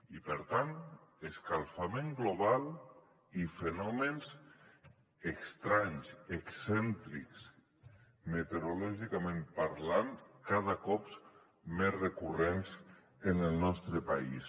i per tant escalfament global i fenòmens estranys excèntrics meteorològicament parlant cada cop més recurrents en el nostre país